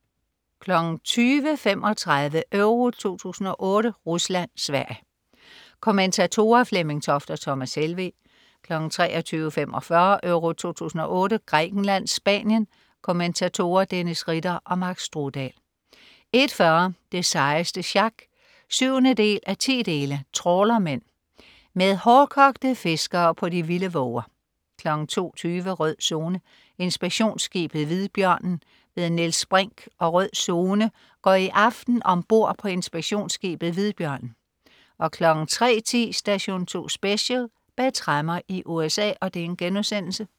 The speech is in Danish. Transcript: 20.35 EURO 2008: Rusland-Sverige. Kommentatorer: Flemming Toft og Thomas Helveg 23.45 EURO 2008: Grækenland-Spanien. Kommentatorer: Dennis Ritter og Mark Strudal 01.40 Det sejeste sjak 7:10. Trawlermen. Med hårdkogte fiskere på de vilde våger 02.20 Rød Zone: Inspektionsskibet Hvidbjørnen. Niels Brinch og "Rød Zone" går i aften om bord på inspektionsskibet Hvidbjørnen 03.10 Station 2 Special: Bag tremmer i USA*